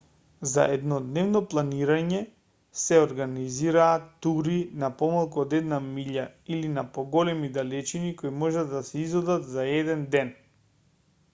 за еднодневно планинарење се организираат тури на помалку од една милја или на поголеми далечини кои можат да се изодат за еден ден